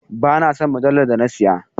Ba na son mujallar da na siya,.